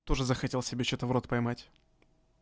тоже захотел себе что-то в рот поймать